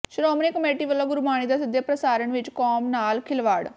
Shiromani committee ਵਲੋਂ ਗੁਰਬਾਣੀ ਦੇ ਸਿੱਧੇ ਪ੍ਰਸਾਰਣ ਵਿੱਚ ਕੌਮ ਨਾਲ ਖਿਲਵਾੜ